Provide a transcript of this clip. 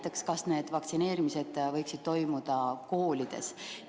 Näiteks kas need vaktsineerimised võiksid toimuda koolides?